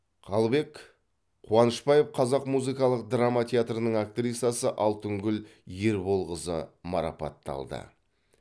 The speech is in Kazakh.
қалыбек қуанышбаев қазақ музыкалық драма театрының актрисасы алтынгүл ерболқызы марапатталды